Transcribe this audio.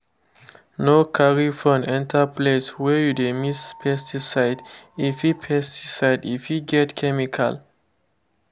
no carry phone enter place wey you dey mix pesticide—e fit pesticide—e fit get chemical.